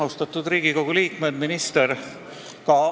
Austatud Riigikogu liikmed ja minister!